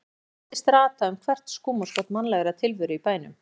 Hún virtist rata um hvert skúmaskot mannlegrar tilveru í bænum.